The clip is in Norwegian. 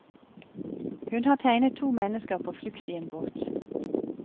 Hun har tegnet to mennesker på flukt i en båt.